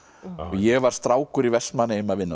ég var strákur í Vestmannaeyjum að vinna